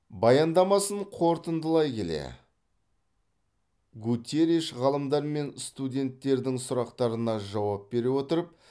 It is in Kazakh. баяндамасын қорытындылай келе гуттерриш ғалымдар мен студенттердің сұрақтарына жауап бере отырып